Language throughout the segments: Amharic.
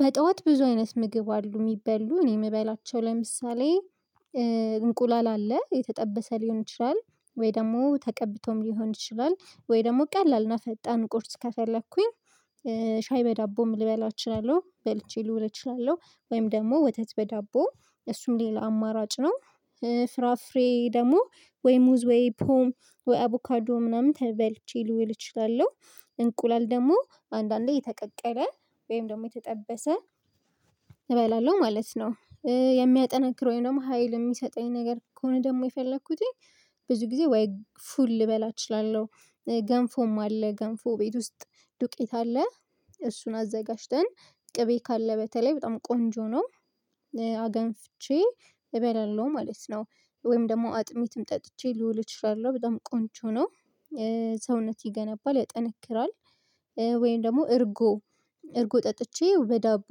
በጧት ብዙ አይነት ምግብ አሉ የሚበሉ እኔ የምበላቸው ለምሳሌ እንቁላል አለ የተጠበሰ ሊሆን ይችላል ወይ ደግሞ ተቀብቶም ሊሆን ይችላል ወይ ደግሞ ቀላል እና ፈጣን ቁርጥ ከፈለኩኝ ሻይ በዳቦም ልበላ እችላለሁ በልቼ ልውል እችላለሁ ወይም ደግሞ ወተት በዳቦ እሱም ሌላ አማራጭ ነው። ፍራፍሬ ደግሞ ወይ ሙዝ ወይ ፖም ወይ አቦካዶ ምናምን በልቼ ልውል እችላለሁ እንቁላል ደግሞ አንዳንዴ የተቀቀለ ወይም ደግሞ የተጠበሰ እበላለሁ ማለት ነው የሚያጠናክረኝ ደግሞ ሀይል የሚሰጠኝ ነገር ከሆነ ደግሞ የፈለኩትኝ ብዙ ጊዜ ወይ ፉል ልበላ እችላለሁ ገንፎም አለ ገንፎ ቤት ውስጥ ዱቄት አለ እሱን አዘጋጅተን ቅቤ ካለ በተለይ በጣም ቆንጆ ነው አገንፍቼ እበላለሁ ማለት ነው ወይም ደግሞ አጥሚትም ጠጥቼ ልዑል እችላለህ በጣም ቆንጆ ነው ሰውነት ይገነባል ያጠነክራል ወይም ደግሞ እርጎ እርጎ ጠጥቼ በዳቦ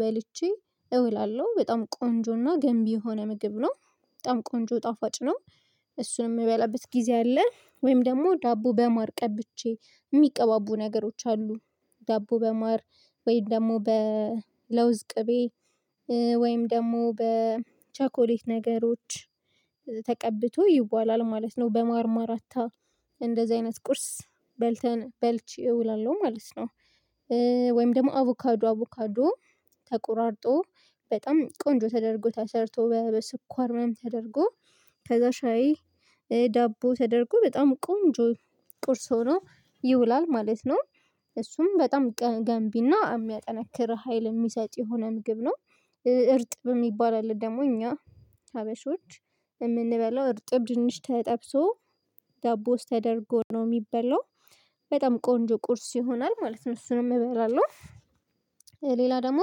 በልቼ እውላለሁ በጣም ቆንጆና ገንቢ የሆነ ምግብ ነው በጣም ቆንጆ ጣፋጭ ነው እሱን የምበላበት ጊዜ አለ ወይም ደግሞ ዳቦ በማር ቀብቼ የሚቀባቡ ነገሮች አሉ ዳቦ በማር ወይም ደግሞ በለውዝ ቅቤ ወይም ደግሞ በቻኮሌት ነገሮች ተቀብቶ ይዋላል ማለት ነው በማርማርታ እንደዚህ አይነት ቁርስ በልተን በልቼ እውላለሁ ማለት ነው። ወይም ደግሞ አቮካዶ አቮካዶ ተቆራርጦ በጣም ቆንጆ ተደርጎ ተሰርቶ በስኳር ምንም ተደርጎ ከዛ ሻይ ዳቦ ተደርጎ በጣም ቆንጆ ቁርስ ሆኖ ይውላል ማለት ነው እሱም በጣም ገንቢና የሚያጠነክር ሀይል የሚሰጥ የሆነ ምግብ ነው። እርጥብ የሚባል አለ ደግሞ እኛ ሀበሾች የምንበላው እርጥብ ድንች ተጠብሶ ዳቦ ውስጥ ተደርጎ ነው የሚበላው በጣም ቆንጆ ቁርስ ይሆናል ማለት ነ። እሱንም እበላለሁ ሌላ ደግሞ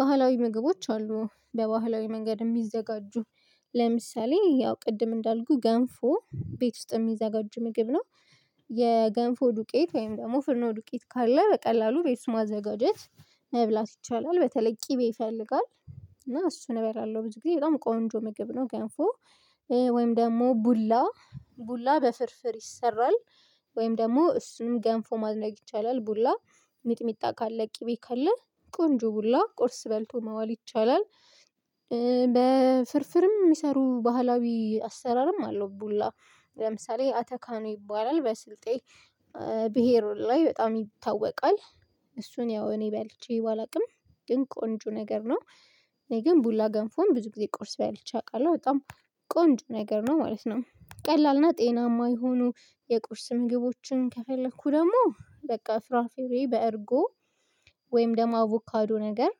ባህላዊ ምግቦች አሉ በባህላዊ መንገድ የሚዘጋጁ ለምሳሌ ያው ቅድም እንዳልኩ ገንፎ ቤት ውስጥ የሚዘጋጅ ምግብ ነው። የገንፎ ዱቄት ወይም ደግሞ ፍርኖ ዱቄት ካለ በቀላሉ ቤት ስሟ ዘጋጀት መብላት ይቻላል በተለይ ቅቤ ይፈልጋል እና እሱ ነበር ያለው ብዙ ጊዜ በጣም ቆንጆ ምግብ ነው ገንፎ ወይም ደግሞ ቡላ ቡላ በፍርፍር ይሰራል ወይም ደግሞ እሱን ገንፎ ማዝነቅ ይቻላል ቡላ ሚጥሚጣ ካለ ቅቤ ካለ ቆንጆ ቡላ ቁርስ በልቶ ማዋል ይቻላል። በፍርፍርም የሚሰሩ ባህላዊ አሰራርም አለው ቡላ ለምሳሌ አተካኑ ይባላል በስልጤ ብሄሩን ላይ በጣም ይታወቃል እሱን ያው እኔ ባልቼ አላውቅም ግን ቆንጆ ነገር ነው እኔ ግን ቡላ ገንፎን ብዙ ጊዜ ቆርሶ ባልቼ አውቃለሁ በጣም ቆንጆ ነገር ነው ማለት ነው ቀላልና ጤናማ የሆኑ የቁርስ ምግቦችን ከፈለኩ ደግሞ በቃ ፍራፍሬ በእርጎ ወይም ደግሞ አቮካዶ ነገር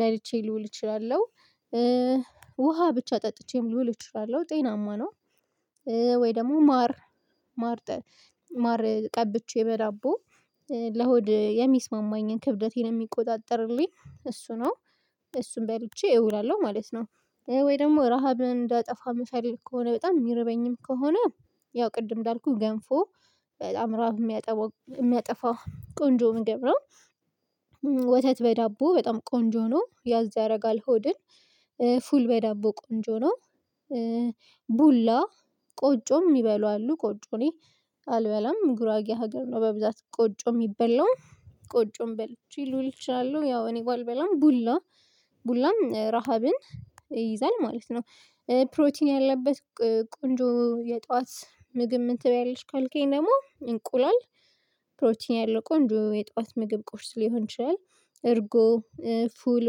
በልቼ ልውል እችላለሁ ውሃ ብቻ ጠጥቼም ልውል እችላለሁ ጤናማ ነው ወይ ደግሞ ማር ማር ማር ቀብቼ በዳቦ ለሆድ የሚስማማኝን ክብደቴን የሚቆጣጠርልኝ እሱ ነው እሱን በልቼ እውላለሁ ማለት ነው። ወይ ደግሞ ረሃብን እንዳጠፋ የምፈልግ ከሆነ በጣም የሚረበኝም ከሆነ ያው ቅድም እንዳልኩህ ገንፎ በጣም ረሃብ የሚያጠፋው ቆንጆ ምግብራ ወተት በዳቦ በጣም ቆንጆ ነው ያዝ ያደርጋል ሆድን ፉል በዳቦ ቆንጆ ነው ቡላ ቆጮም ሚበሉ አሉ ቆጮ እኔ አልበላም ግራጌ ሀገር ነው በብዛት ቆጮ የሚበላው ቆጮም በልቼ ልውል እችላለሁ ያው እኔ ጋር አልበላም ቡላ ቡላም ረሃብን ይይዛል ማለት ነው። ፕሮቲን ያለበት ቆንጆ የጧት ምግብ ምን ትበያለሽ ካልከኝ ደግሞ እንቁሏል ፕሮቲን ያለው ቆንጆ የጠዋት ምግብ ቁርሱ ሊሆን ይችላል እርጎ ፉል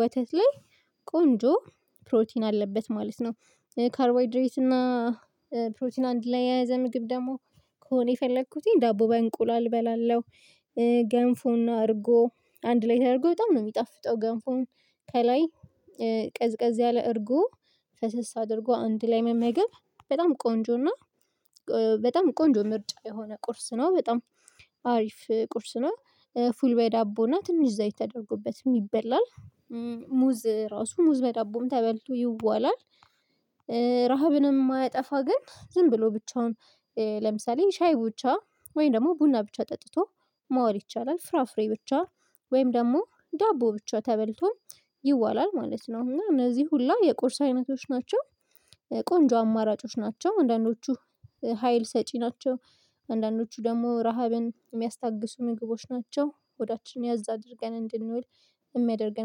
ወተት ላይ ቆንጆ ፕሮቲን አለበት ማለት ነው ካርቦይድሬት እና ፕሮቲን አንድ ላይ ያዘ ምግብ ደግሞ ከሆነ የፈለኩትኝ ዳቦ በእንቁላል እበላለሁ ገንፉና አድርጎ አንድ ላይ ተደርጎ በጣም ነው የሚጣፍጠው ገንፎን ከላይ ቀዝቀዝ ያለ እርጎ ፈሰስ አድርጎ አንድ ላይ መመገብ በጣም ቆንጆ እና በጣም ቆንጆ ምርጥ የሆነ ቁርስ ነው በጣም አሪፍ ቁርስ ነው ፉል በዳቦ እና ትንሽ ዘይት ተደርጎበትም ይበላል ሙዝ ራሱ ሙዝ በዳቦም ተበልቶ ይዋላል ረሃብንም የማያጠፋ ግን ዝም ብሎ ብቻውን ለምሳሌ ሻይ ብቻ ወይም ደግሞ ቡና ብቻ ጠጥቶ ማዋል ይቻላል ፍራፍሬ ብቻ ወይም ደግሞ ዳቦ ብቻ ተበልቶ ይዋላል ማለት ነው እና እነዚህ ሁላ የቁርስ አይነቶች ናቸው። ቆንጆ አማራጮች ናቸው አንዳንዶቹ ሀይል ሰጪ ናቸው አንዳንዶቹ ደግሞ ረሃብን የሚያስታግሱ ምግቦች ናቸው ሆዳችን ያዛ አድርገን እንድንውል የሚያደርገን